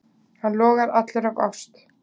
Hann logar allur af ást.